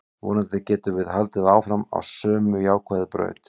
Vonandi getum við haldið áfram á sömu jákvæðu braut.